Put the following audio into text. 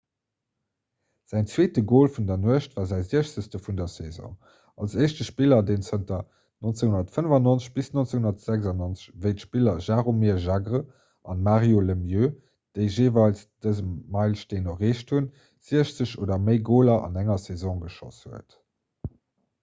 säin zweete gol vun der nuecht war säi 60 vun der saison als éischte spiller deen zanter 1995 - 1996 wéi d'spiller jaromir jagr an mario lemieux déi jeeweils dëse meilesteen erreecht hunn 60 oder méi goler an enger saison geschoss huet